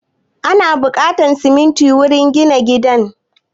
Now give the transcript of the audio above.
Ana buƙatar siminti wurin gina gida